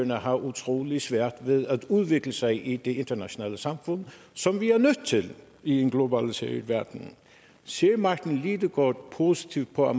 har utrolig svært ved at udvikle sig i det internationale samfund som vi er nødt til i en globaliseret verden ser martin lidegaard positivt på